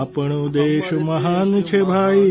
આપણો દેશ મહાન છે ભાઇ